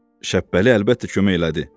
Şəbpəli əlbəttə kömək elədi.